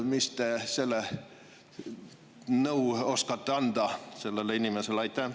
Mis nõu te oskate anda sellele inimesele?